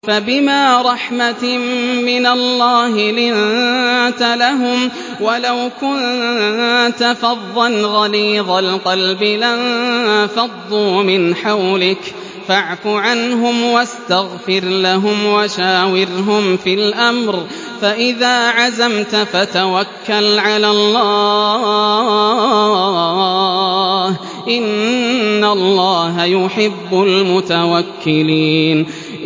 فَبِمَا رَحْمَةٍ مِّنَ اللَّهِ لِنتَ لَهُمْ ۖ وَلَوْ كُنتَ فَظًّا غَلِيظَ الْقَلْبِ لَانفَضُّوا مِنْ حَوْلِكَ ۖ فَاعْفُ عَنْهُمْ وَاسْتَغْفِرْ لَهُمْ وَشَاوِرْهُمْ فِي الْأَمْرِ ۖ فَإِذَا عَزَمْتَ فَتَوَكَّلْ عَلَى اللَّهِ ۚ إِنَّ اللَّهَ يُحِبُّ الْمُتَوَكِّلِينَ